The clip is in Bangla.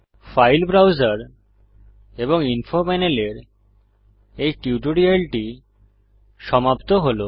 ফাইল ব্রাউজার এবং ইনফো প্যানেলের এই টিউটোরিয়ালটি সমাপ্ত হল